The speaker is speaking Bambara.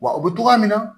Wa u bɛ togoya minna